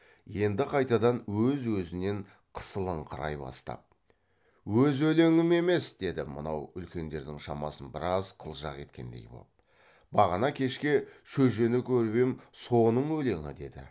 енді қайтадан өз өзінен қысылыңқырай бастап өз өлеңім емес деді мынау үлкендердің шамасын біраз қылжақ еткендей боп бағана кешке шөжені көріп ем соның өлеңі деді